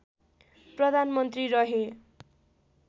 प्रधानमन्त्री रहे